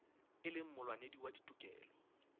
e leng molwanedi wa ditokelo